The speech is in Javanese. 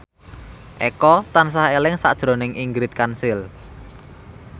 Eko tansah eling sakjroning Ingrid Kansil